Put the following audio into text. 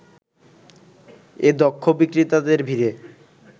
এ দক্ষ বিক্রেতাদের ভিড়ে